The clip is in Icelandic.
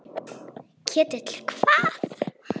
Ketill hvað?